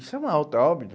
Isso é uma alta óbito.